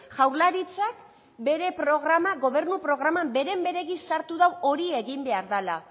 jaurlaritzak bere gobernu programan beren beregi sartu du hori egin behar dela